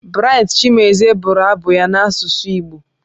Bright Chimezie bụrụ abụ ya n'asụsụ Igbo.